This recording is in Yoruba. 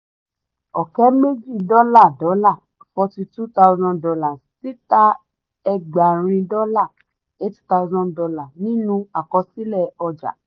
ọ̀kẹ́ méjì dọ́là dọ́là forty two thousand dollar títà ẹgbàárìn dọ́là eight thousand dollar nínú àkọsílẹ̀ ọjà.